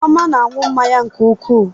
Chioma na-aṅụ mmanya nke ukwuu